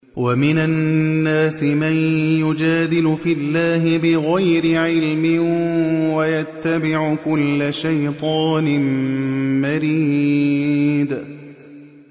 وَمِنَ النَّاسِ مَن يُجَادِلُ فِي اللَّهِ بِغَيْرِ عِلْمٍ وَيَتَّبِعُ كُلَّ شَيْطَانٍ مَّرِيدٍ